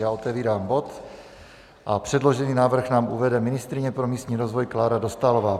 Já otevírám bod a předložený návrh nám uvede ministryně pro místní rozvoj Klára Dostálová.